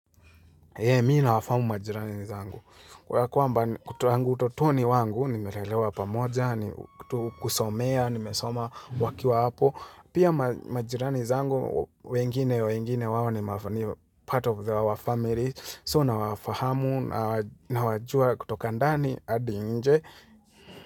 Mi na wafahamu majirani zangu. Wa kwamba utotoni wangu, nimelelewa pamoja, kusomea, nimesoma wakiwa hapo. Pia majirani zangu, wengine, wengine wao ni part of the our family. So nawafahamu, nawajua kutoka ndani, adi nje.